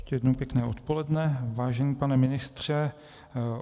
Ještě jednou pěkné odpoledne, vážený pane ministře.